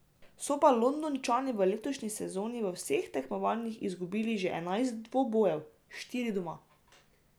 So pa Londončani v letošnji sezoni v vseh tekmovanjih izgubili že enajst dvobojev, štiri doma.